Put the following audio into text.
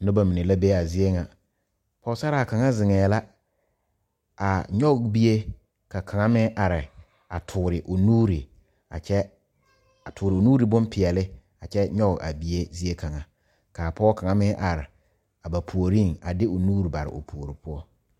Noba mine la be a zie ŋa pɔgsaraa kaŋa zeŋee la a nyɔge bie ka kaŋa mine are a toore o nuure a kyɛ a toore o nuure bonpeɛle a kyɛ nyɔge a bie zie kaŋa ka Pɔge kaŋa meŋ are ba puoriŋ a fe o nuure a bare o puori poɔ